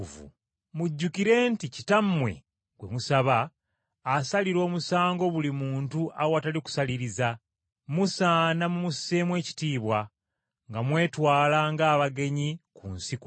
Mujjukire nti Kitammwe gwe musaba, asalira omusango buli muntu awatali kusaliriza, musaana mumusseemu ekitiibwa, nga mwetwala ng’abagenyi ku nsi kuno.